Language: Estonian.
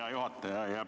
Hea juhataja!